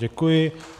Děkuji.